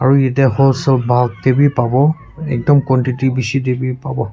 aru yatae wholesale buk taebi pa wo ekdum quantity tae bi bishi pawo.